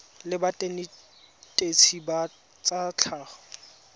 la banetetshi ba tsa tlhago